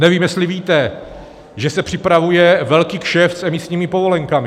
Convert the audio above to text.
Nevím, jestli víte, že se připravuje velký kšeft s emisními povolenkami.